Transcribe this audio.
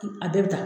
A bɛɛ bɛ taa